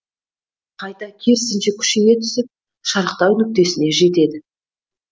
қайта керісінше күшейе түсіп шарықтау нүктесіне жетеді